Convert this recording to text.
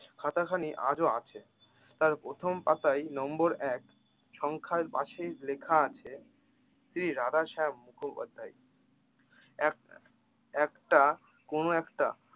খাতা খানি আজও আছে তার প্রথম পাতায় নম্বর এক সংখ্যার পাশে লেখা আছে রাধা শ্যাম মুখোপাধ্যায় এক একটা কোনো একটা